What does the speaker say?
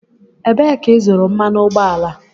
Ebee ka ịzụrụ mmanụ ụgbọala?